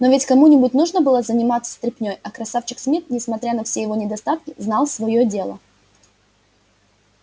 но ведь кому нибудь нужно было заниматься стряпней а красавчик смит несмотря на все его недостатки знал своё дело